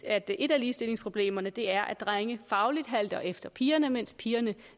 at et af ligestillingsproblemerne er at drenge fagligt halter efter pigerne mens pigerne